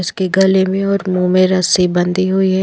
इसके गले में और मुँह में रस्सी बंधी हुई है।